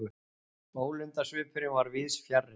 Ólundarsvipurinn var víðs fjarri.